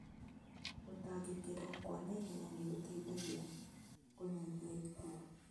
Gũtangĩkĩrũo kwa naihenya nĩgũteithagia kũnyihia ikuũ